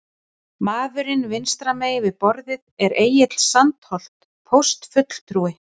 Maðurinn vinstra megin við borðið er Egill Sandholt, póstfulltrúi.